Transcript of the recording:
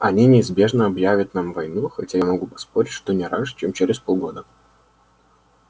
они неизбежно объявят нам войну хотя я могу поспорить что не раньше чем через полгода